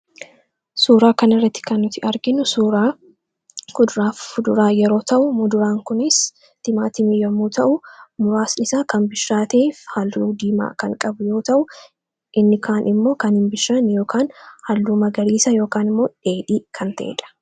suuraa kan irratti kannuti arginu suuraa kuduraaf fuduraa yeroo ta'u muduraan kunis timaa timii yommuu ta'u muraasnisaa kan bishraatiif halluu diimaa kan qab yoo ta'u inni kaan immoo kan hin bishiraan yookaan hal'uu magaliisa yookn immoo dheedhii kan ta'eedha